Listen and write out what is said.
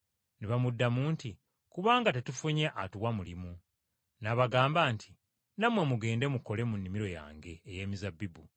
“Ne bamuddamu nti, ‘Kubanga tetufunye atuwa mulimu.’ N’abagamba nti, ‘Nammwe mugende mukole mu nnimiro yange ey’emizabbibu.’